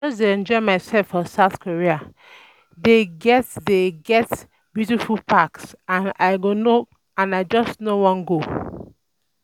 I just dey enjoy myself for South Korea. um They um get They um get beautiful parks and I just no wan um go